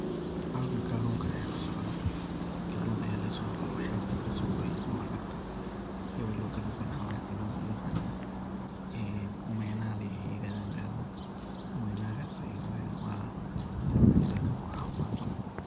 Halkan kalunka aya kasocda. Kalun aya xebta laga soguray amaba lagta ee waliba waxa waye kalunka u yiqanan ee Omena ay yirahdan galada. Omenagas waxa weyaan kalun aad iyo aad u cafimad badan.